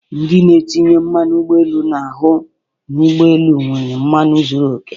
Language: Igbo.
Ndị na-etinye mmanu ụgbọelu na-ahụ n'ụgbọelu nwere mmanụ zuru okè.